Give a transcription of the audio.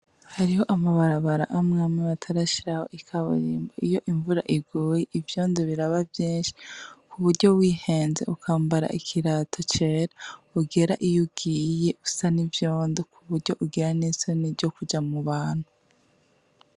Hariho amabarabara amwe amwe batarashiraho ikaburimbo. Iyo imvura iguye ivyondo biraba vyinshi kuburyo wihenze ukambara ikirato cera ugera iyo ugiye usa n'ivyondo kuburyo ugira n'isoni ryo kuja mu bantu.